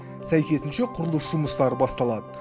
сәйкесінше құрылыс жұмыстары басталады